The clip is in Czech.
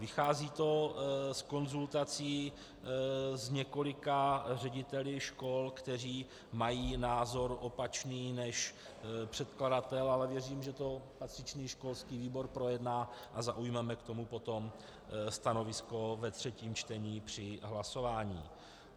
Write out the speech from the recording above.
Vychází to z konzultací s několika řediteli škol, kteří mají názor opačný než předkladatel, ale věřím, že to patřičný školský výbor projedná a zaujmeme k tomu potom stanovisko ve třetím čtení při hlasování.